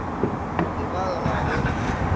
be ba re ga go